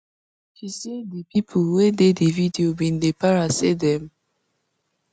she say di pipo wey dey di video bin dey para say dem